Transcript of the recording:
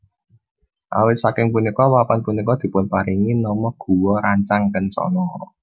Awit saking punika papan punika dipunparingi nama Gua Rancang Kencono